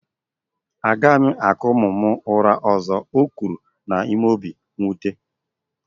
A gaghị m akụ ụmụ m ụra ọzọ, o kwuru n'obi mwute